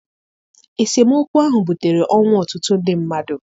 Esemokwu ahụ butere ọnwụ ọtụtụ ndị mmadụ.